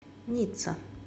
ницца